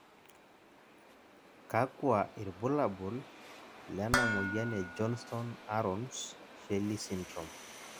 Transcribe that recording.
kakua irbulabol lena moyian e Johnston Aarons Schelley syndrome?